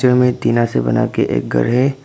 यहाँ मे टीना से बना के एक घर है।